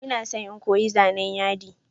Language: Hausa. Ina son in koyi zanan yadi.